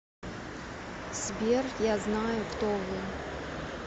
сбер я знаю кто вы